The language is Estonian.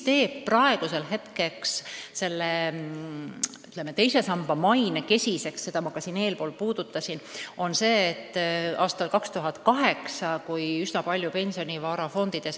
Teise samba maine teeb kesiseks tõsiasi, mida ma täna juba puudutasin: aastal 2008 hävis fondides üsna palju pensionivara.